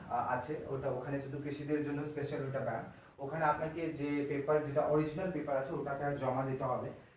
আছে ওটা ওখানে ওটা কৃষিদের জন্য special ওটা bank আপনাকে paper যেটা original paper আছে ওটাকে জমা দিতে হবে।